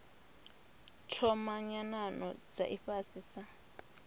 thoma nyanano dza ifhasi sa